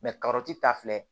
karɔti ta filɛ